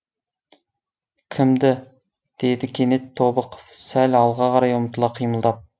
кімді деді кенет тобықов сәл алға қарай ұмтыла қимылдап